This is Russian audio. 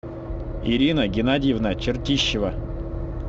ирина геннадьевна чертищева